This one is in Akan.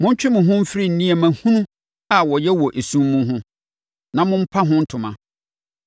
Montwe mo ho mfiri nneɛma hunu a wɔyɛ wɔ esum mu ho, na mompa ho ntoma.